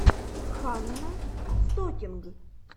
ханна стокинг